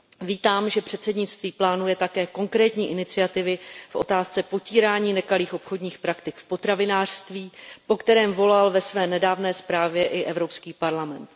Vítám, že předsednictví plánuje také konkrétní iniciativy v otázce potírání nekalých obchodních praktik v potravinářství, po kterém volal ve své nedávné zprávě i Evropský parlament.